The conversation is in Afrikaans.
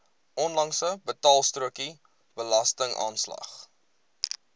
onlangse betaalstrokie belastingaanslag